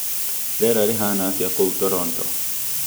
rĩera rĩhana atĩa kuu toronto